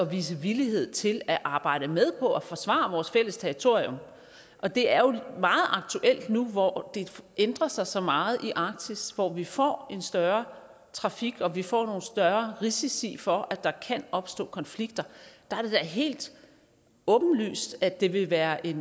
vise villighed til at arbejde med på at forsvare vores fælles territorium og det er jo meget aktuelt nu hvor det ændrer sig så meget i arktis hvor vi får en større trafik og vi får nogle større risici for at der kan opstå konflikter der er det da helt åbenlyst at det vil være et